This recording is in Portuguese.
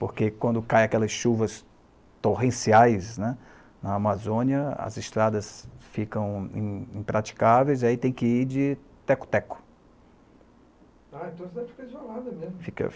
Porque quando caem aquelas chuvas torrenciais né, na Amazônia, as estradas ficam im impraticáveis e aí tem que ir de teco-teco. Ah então você fica isolado mesmo. Fica, fica